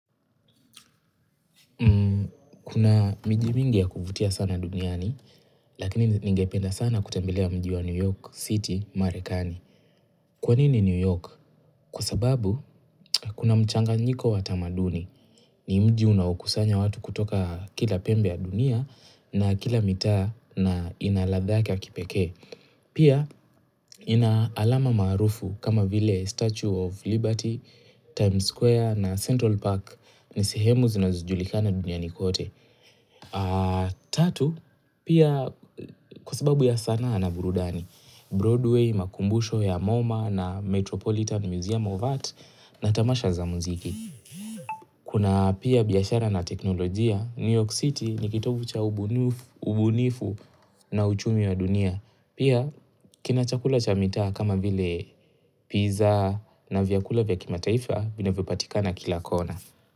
Kuna miji mingi ya kuvutia sana duniani, lakini ningependa sana kutembelea mji wa New York City, Marekani. Kwa nini New York? Kwa sababu, kuna mchanganyiko wa tamaduni. Ni mji unaokusanya watu kutoka kila pembe ya dunia na kila mitaa na inaladha yake ya kipekee. Pia, ina alama maarufu kama vile Statue of Liberty, Times Square na Central Park ni sihemu zinazojulikana duniani kote. Tatu, pia kwa sababu ya sanaa na burudani Broadway, makumbusho ya MoMA na Metropolitan Museum of Art na tamasha za mziki Kuna pia biashara na teknolojia, New York City nikitovu cha ubunifu na uchumi wa dunia Pia, kinachakula cha mitaa kama vile pizza na vyakula vya kimataifa vinavyopatikana kila kona.